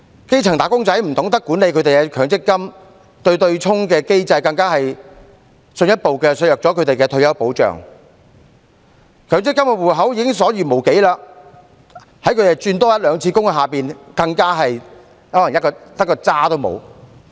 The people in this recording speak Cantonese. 基層"打工仔"不懂得管理他們的強積金，而對沖機制更進一步削減了他們的退休保障，強積金戶口內的累算權益已所餘無幾，在他們多轉換一兩次工作下，更可能連甚麼也沒有。